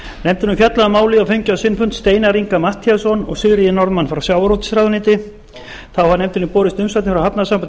hefur fjallað um málið og fengið á sinn fund steinar inga matthíasson og sigríði norðmann frá sjávarútvegsráðuneyti þá hafa nefndinni borist umsagnir frá hafnasambandi